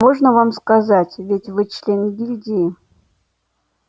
можно вам сказать ведь вы член гильдии